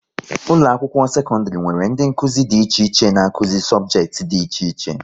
Ụlọ akwụkwọ sekọndrị nwere ndị Nkụzi dị iche iche n'akuzi sobjekiti dị iche iche